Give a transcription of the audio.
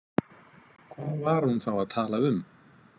Hvað var hún þá að tala um?